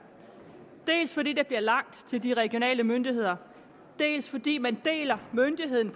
dels fordi der bliver langt til de regionale myndigheder dels fordi man deler myndigheden